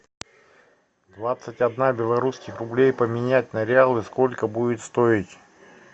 двадцать одна белорусских рублей поменять на реалы сколько будет стоить